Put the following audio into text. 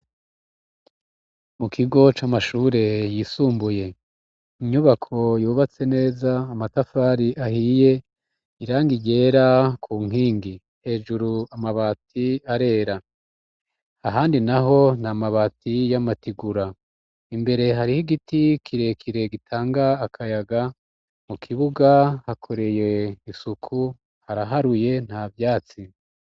Mu kigo c'amashure yisumbuye, inyubako yubatse neza, amatafari ahiye, irangi ryera ku nkingi, hejuru amabati arera, ahandi naho, nt'amabati, n'amatigura, imbere hariho igiti kirekire gitanga akayaga mu kibuga hakoreye isuku haraharuye nta vyatsi.